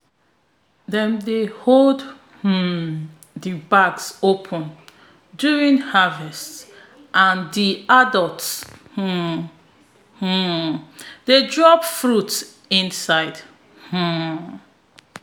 dem dey hold um di bags open during harvest and di adults um um dey drop fruits inside um